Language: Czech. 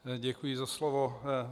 Děkuji za slovo.